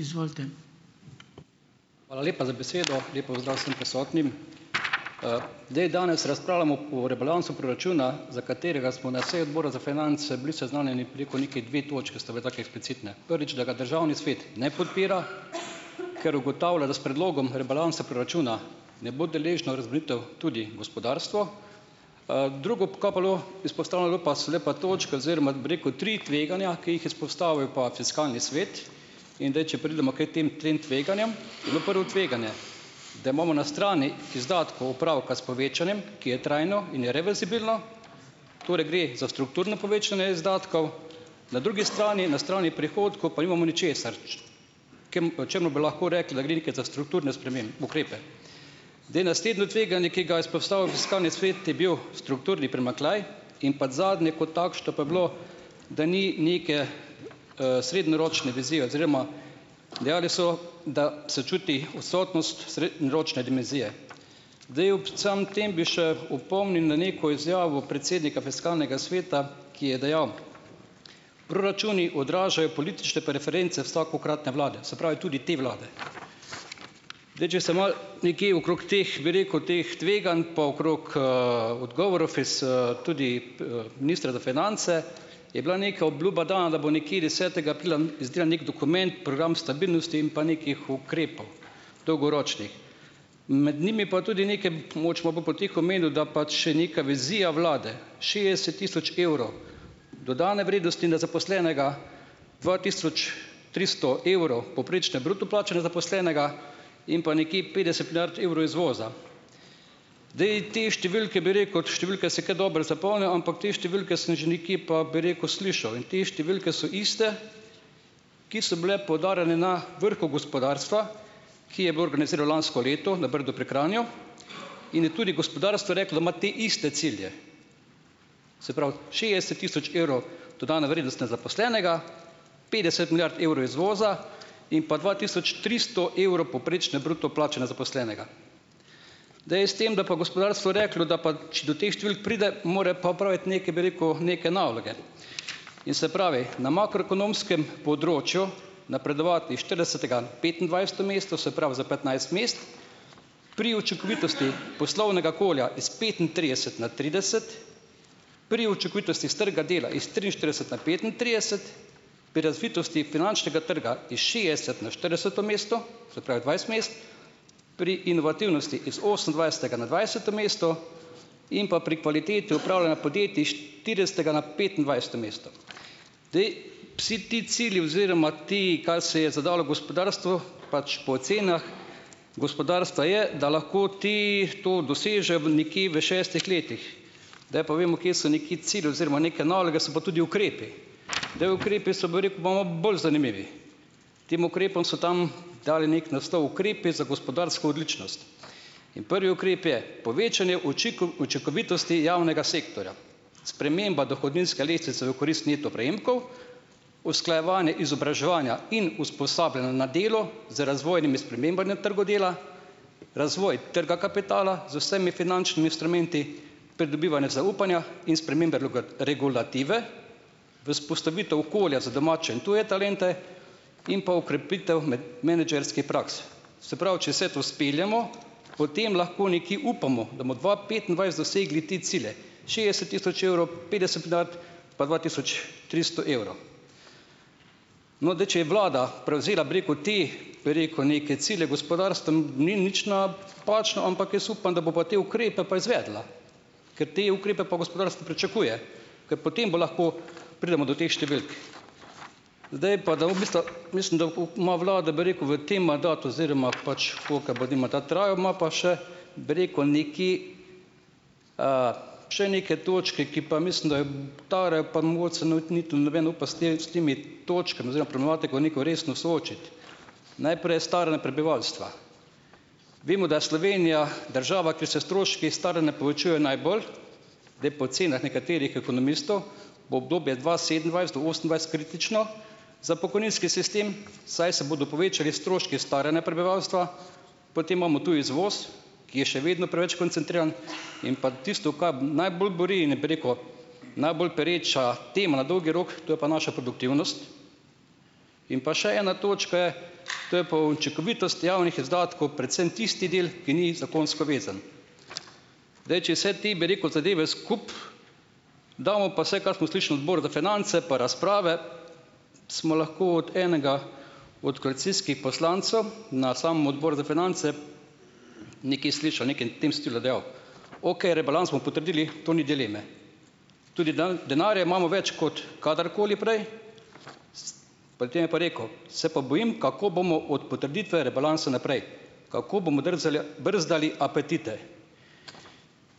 Izvolite. Hvala lepa za besedo. Lep pozdrav vsem prisotnim! zdaj, danes razpravljamo o rebalansu proračuna, za katerega smo na seji odbora za finance bili seznanjeni preko, neke dve točke sta bili taki eksplicitne. Prvič, da ga državni svet ne podpira, ker ugotavlja, da s predlogom rebalansa proračuna ne bo deležno razbremenitev tudi gospodarstvo. drugo, kaj pa bilo izpostavljeno, je bilo, so bile pa točke oziroma bi rekel tri tveganja, ki jih je izpostavil pa fiskalni svet. In zdaj če pridemo k tem trem tveganjem, je bilo prvo tveganje, da imamo na strani izdatkov opravka s povečanjem, ki je trajno in je reverzibilno. Torej, gre za strukturno povečanje izdatkov. Na drugi strani , na strani prihodkov, pa nimamo ničesar. Čemu bi lahko rekli, da gre neke za strukturne ukrepe. Zdaj, naslednje tveganje, ki ga je izpostavil fiskalni svet, je bil strukturni primanjkljaj in pa zadnje kot takšno pa je bilo, da ni neke, srednjeročne vizije oziroma dejali so, da se čuti odsotnost ročne dimenzije. Daj ob vsem tem bi še opomnil na neko izjavo predsednika fiskalnega sveta, ki je dejal: "Proračuni odražajo politične preference vsakokratne vlade. Se pravi tudi te vlade." Daj če se malo nekje okrog teh, bi rekel, teh tveganj, pa okrog, odgovorov tudi ministra za finance, je bila neka obljuba dana, da bo nekje desetega aprila izdelal neki dokument, program stabilnosti in pa nekih ukrepov, dolgoročnih. Med njimi pa tudi neke, da pač še neka vizija vlade, šestdeset tisoč evrov dodane vrednosti na zaposlenega, dva tisoč tristo evrov povprečne bruto plače na zaposlenega in pa nekje petdeset milijard evrov izvoza. Zdaj, te številke, bi rekel, številke si ke dobro zapomnim, ampak te številke sem že nekje pa, bi rekel, slišal in te številke so iste, ki so bile poudarjene na vrhu gospodarstva, ki je bilo organizirano lansko leto na Brdu pri Kranju, in je tudi gospodarstvo reklo, da ima te iste cilje. Se pravi šestdeset tisoč evrov dodane na zaposlenega, petdeset milijard evrov izvoza in pa dva tisoč tristo evrov povprečne bruto plače na zaposlenega. Zdaj, s tem, da je pa gospodarsko reklo, da pa do teh številk pride, mora pa opraviti neke, bi rekel, neke naloge. In se pravi na makroekonomskem področju napredovati iz štiridesetega petindvajseto mesto, se pravi za petnajst mest, pri učinkovitosti poslovnega okolja iz petintrideset na trideset, pri učinkovitosti s trga dela iz triinštirideset na petintrideset, pri razvitosti finančnega trga iz šestdeset na štirideseto mesto, se pravi dvajset mest, pri inovativnosti iz osemindvajsetega na dvajseto mesto in pa pri kvaliteti upravljanja podjetij iz štiridesetega na petindvajseto mesto. Zdaj, vsi ti cilji oziroma ti, kar se je zadalo gospodarstvo, pač po ocenah gospodarstva je, da lahko ti to dosežejo v nekje v šestih letih, zdaj pa vemo, kje so neki cilj oziroma neke naloge, so pa tudi ukrepi. Zdaj, ukrepi so, bi rekel, pa malo bolj zanimivi. Tem ukrepom so tam dali neki naslov Ukrepi za gospodarsko odličnost in prvi ukrep je povečanje učinkovitosti javnega sektorja, sprememba dohodninske lestvice v korist neto prejemkov, usklajevanje izobraževanja in usposabljanja na delo z razvojnimi spremembami na trgu dela, razvoj trga kapitala z vsemi finančnimi instrumenti, pridobivanje zaupanja in spremembe regulative, vzpostavitev okolja za domače in tuje talente in pa okrepitev menedžerskih praks. Se pravi, če se to speljemo, potem lahko nekje upamo, da bomo dva petindvajset dosegli te cilje šestdeset tisoč evrov, petdeset milijard pa dva tisoč tristo evrov. No, zdaj, če je vlada prevzela, bi rekel, te, bi rekel, neke cilje gospodarstn, ni nič ampak jaz upam, da bo pa te ukrepe pa izvedla, ker te ukrepe pa gospodarstvo pričakuje, ker potem bo lahko pridemo do teh številk. Zdaj pa, ima vlada, bi rekel, v tem mandatu oziroma pač ima pa še, bi rekel, neki, še neke točke, ki pa mislim, da noben ne upa s tem, s temi točkami oziroma problematiko neko resno soočiti. Najprej je staranje prebivalstva. Vemo, da je Slovenija država, kjer se stroški staranja povečujejo najbolj. Zdaj, po ocenah nekaterih ekonomistov bo obdobje dva sedemindvajset do osemindvajset kritično za pokojninski sistem, saj se bodo povečali stroški staranja prebivalstva. Potem imamo tu izvoz, ki je še vedno preveč koncentriran, in pa tisto, kaj najbolj buri in je, bi rekel, najbolj pereča tema na dolgi rok, to je pa naša produktivnost. In pa še ena točka je, to je pa učinkovitost javnih izdatkov, predvsem tisti del, ki ni zakonsko vezan. Zdaj, če vse te, bi rekel, zadeve skupaj damo, pa vse, kar smo slišali na odboru za finance, pa razprave, smo lahko od enega od koalicijskih poslancev na samem odboru za finance nekaj slišal, nekaj n tem stilu dejal: "Okej, rebalans bomo potrdili, tu ni dileme." Tudi denarja imamo več kot kadarkoli prej, pred tem je pa rekel: "Se pa bojim, kako bomo od potrditve rebalansa naprej, kako bomo držali, ja, brzdali apetite."